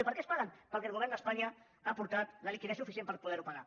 i per què es paguen perquè el govern d’espanya ha aportat la liquiditat suficient per poder ho pagar